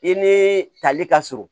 I ni tali ka surun